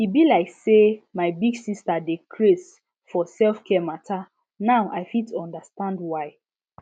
e be like say my big sister dey craze for selfcare matter now i fit understand why